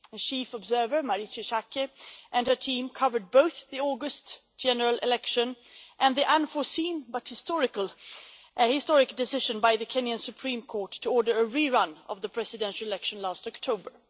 The chief observer, Marietje Schaake, and her team covered both the August general election and the unforeseen but historic decision by the Kenyan Supreme Court to order a re run of the presidential election last October.